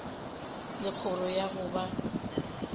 le kgoro ya go ba